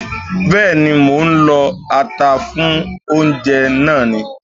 Bẹ́ẹ̀ni, mò ń lọ ata fún oúnjẹ náà ni